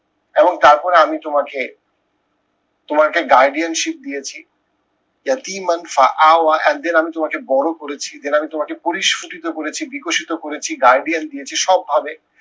এবং তারপর আমি তোমাকে তোমাকে guardianship দিয়েছি and then আমি তোমাকে বড় করেছি then আমি তোমাকে পরিস্ফুটিত করেছি বিকশিত guardian দিয়েছি সব ভাবে